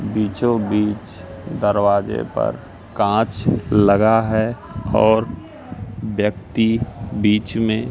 बीचों बीच दरवाजे पर कांच लगा है और व्यक्ति बीच में--